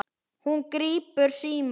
Hún grípur símann.